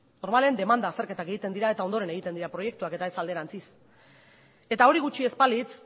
normalean demanda azterketak egiten dira eta ondoren egiten dira proiektuak eta ez alderantziz eta hori gutxi ez balitz